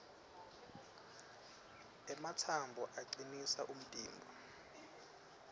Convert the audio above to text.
ematsambo acinisa umtimba